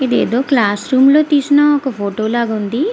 ఇది ఏదో classroom లో తెసిన ఫోటో ల వుంది.